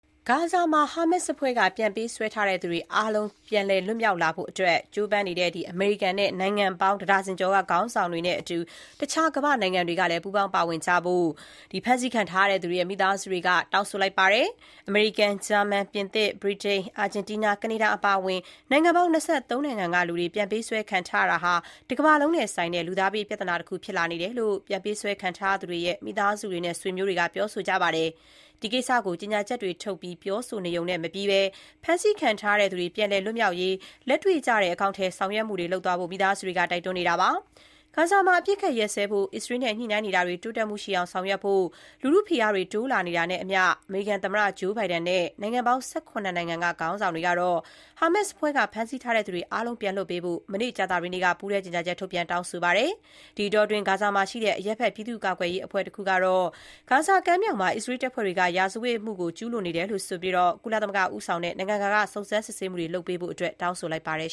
ဂါဇာမှာ ဟာမတ်စ်အဖွဲ့ ပြန်ပေးဆွဲဖမ်းဆီးတာ ခံထားရတဲ့သူတွေ အားလုံး ပြန်လည် လွတ်မြောက်လာဖို့အတွက် ကြိုးပမ်းနေတဲ့ အမေရိကန်နဲ့ နိုင်ငံပေါင်း တဒါဇင်ကျော်က ခေါင်းဆောင်တွေနဲ့အတူ တခြား ကမ္ဘာ့နိုင်ငံတွေ ကလည်း ပူးပေါင်း ပါဝင်ကြဖို့ ဖမ်းဆီးခံထားရသူတွေရဲ့ မိသားစုတွေက တောင်းဆိုလိုက်ပါတယ်။ အမေရိကန်၊ ဂျာမန်၊ ပြင်သစ်၊ ဗြတိန်၊ အာဂျင်တီးနား၊ ကနေဒါအပါအဝင် နိုင်ငံပေါင်း ၂၃ နိုင်ငံက လူတွေ ပြန်ပေးဆွဲ ခံထားရတာဟာ တကမ္ဘာလုံးနဲ့ဆိုင်တဲ့ လူသားဘေး ပြဿနာ တခုဖြစ်လာနေတယ်လို့ ပြန်ပေးဆွဲ ခံထားရသူတွေရဲ့ မိသားစု ဆွေမျိုးတွေက ပြောဆိုကြပါတယ်။ ဒီကိစ္စကို ကြေညာချက်တွေထုတ်ပြီး ပြောဆိုနေရုံနဲ့မပြီးဘဲ ဖမ်းဆီးခံထားရသူတွေ ပြန်လည် လွတ်မြောက်ရေး လက်တွေ့ကျတဲ့ အကောင်အထည်ဖော် ဆောင်ရွက်မှုတွေ လုပ်သွားဖို့ မိသားစုတွေက တိုက်တွန်းပါတယ်။ ဂါဇာမှာ အပစ်အခတ် ရပ်စဲဖို့ အစ္စရေးနဲ့ ညှိနှိုင်းနေတာတွေ တိုးတက်မှုရှိအောင် ဆောင်ရွက်ဖို့ လူထုဖိအားတွေ တိုးလာနေတာနဲ့အမျှ အမေရိကန်သမ္မတ Joe Biden နဲ့ နိုင်ငံ ၁၇ နိုင်ငံက ခေါင်းဆောင်တွေကတော့ ဟာမတ်စ်အဖွဲ့က ဖမ်းဆီးထားသူ အားလုံးကို ပြန်လွှတ်ပေးဖို့ မနေ့ ကြာသပတေးနေ့မှာ ပူးတွဲ ကြေညာချက် ထုတ်ပြန် တောင်းဆိုခဲ့ပါတယ်။ ဒီအတောအတွင်းက ဂါဇာမှာရှိတဲ့ အရပ်ဘက် ပြည်သူ့ကာကွယ်ရေး အဖွဲ့တခုက ဂါဇာကမ်းမြောင်မှာ အစ္စရေး တပ်ဖွဲ့တွေက ရာဇဝတ်မှုတွေ ကျူးလွန်ခဲ့တယ်လို့ ဆိုပြီး ကုလသမဂ္ဂ ဦးဆောင်တဲ့ နိုင်ငံတကာက စုံစမ်းစစ်ဆေးမှုတွေ လုပ်ဖို့ တောင်းဆိုလိုက် ပါတယ်